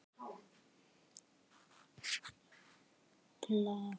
Elsku besti afi.